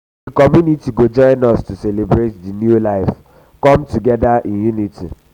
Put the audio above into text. di community go join us to celebrate di new life di new life come together in unity.